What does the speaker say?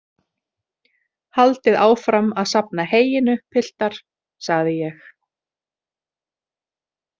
Haldið áfram að safna heyinu, piltar, sagði ég.